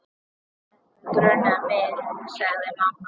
Þetta grunaði mig, sagði mamma.